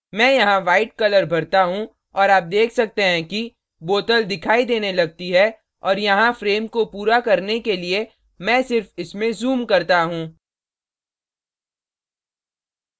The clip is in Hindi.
मैं यहाँ white colour भरता हूँ और आप देख सकते हैं कि bottle दिखाई देने लगती है और यहाँ frame को पूरा करने के लिए मैं सिर्फ इसमें zoom करता हूँ